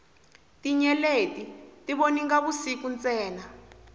tinyeleti ti voninga vusiku ntsena